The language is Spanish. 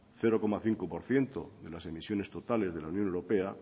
cero coma cinco por ciento de las emisiones totales de la unión europea